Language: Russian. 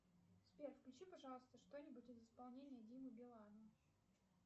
сбер включи пожалуйста что нибудь из исполнения димы билана